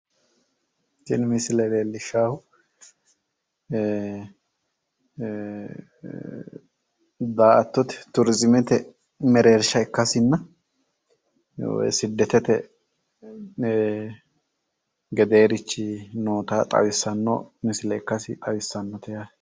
tini misile leellishshaahu ee daa''attote turizimete mereersha ikkasinna siddetete gedeerichi noota xawissanno misile ikkasi xawissano misileeti yaate.